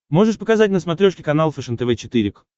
можешь показать на смотрешке канал фэшен тв четыре к